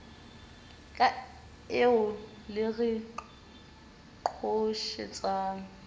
ka eo le re qhoshetsang